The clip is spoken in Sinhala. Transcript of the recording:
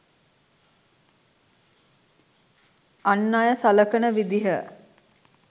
අන් අය සලකන විදිහ.